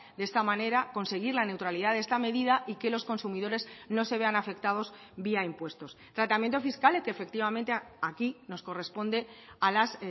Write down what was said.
de esta manera conseguir la neutralidad de esta medida y que los consumidores no se vean afectados vía impuestos tratamiento fiscal que efectivamente aquí nos corresponde a las